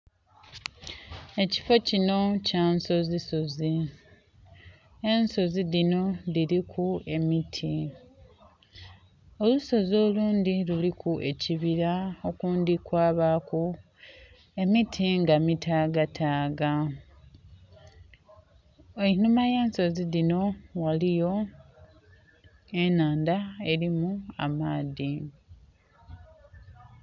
Ekifo kinho kya nsozi sozi, ensozi dhino dhiliku emiti. Olusozi olundhi luliku ekibira okundhi kwabaku emiti nga mitaga taga. Einhuma ghensozi dhino ghaliyo enhandha elimu amaadhi.